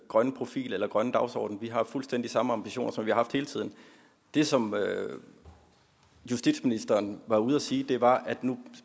grønne profil eller grønne dagsorden vi har fuldstændig samme ambitioner som vi har haft hele tiden det som justitsministeren var ude at sige var at nu